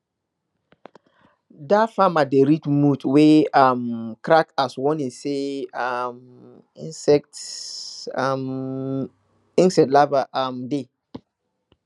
dat farmer dey read mud wey um crack as warning say um insect um insect larvae um dey